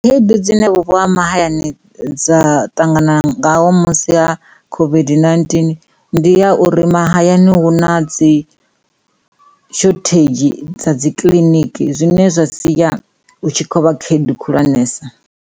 Khaedu dzine vhupo ha mahayani dza ṱangana ngaho musi ha COVID-19 ndi ya uri mahayani hu na dzi shothedzhi dza dzi kiḽiniki zwine zwa siya u tshi kho vha khaedu khulwanesa.